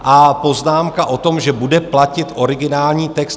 A poznámka o tom, že bude platit originální text.